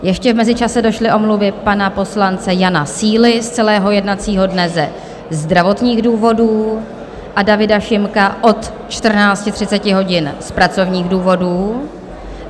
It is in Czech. Ještě v mezičase došly omluvy pana poslance Jana Síly z celého jednacího dne ze zdravotních důvodů a Davida Šimka od 14.30 hodin z pracovních důvodů.